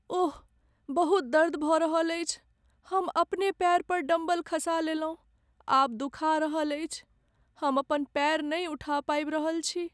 ओह! बहुत दर्द भऽ रहल अछि। हम अपने पैर पर डम्बल खसा लेलहुँ, आब दुखा रहल अछि। हम अपन पैर नहि उठा पाबि रहल छी।